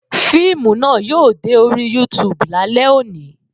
Fíìmù náà yóò dé orí YouTube lálẹ́ òní